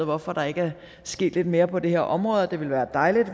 hvorfor der ikke er sket lidt mere på det her område det ville være dejligt